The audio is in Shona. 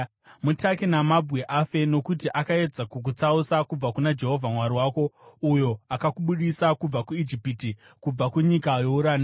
Mutake namabwe afe, nokuti akaedza kukutsausa kubva kuna Jehovha Mwari wako, uyo akakubudisa kubva kuIjipiti, kubva kunyika youranda.